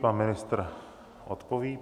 Pan ministr odpoví.